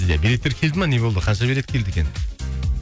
иә билеттер келді ме не болды қанша билет келді екен